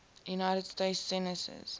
united states senators